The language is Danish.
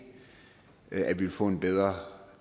at vi vil få en bedre